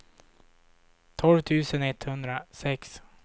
tolv tusen etthundrasex